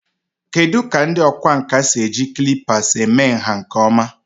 Kedu ka ndị ọkwá nkà si eji calipers eme nha nke ọma?